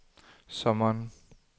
sommeren